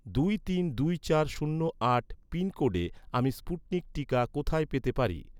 দুই তিন দুই চার শূন্য আট পিনকোডে, আমি স্পুটনিক টিকা কোথায় পেতে পারি?